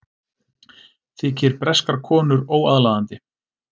Þykir breskar konur óaðlaðandi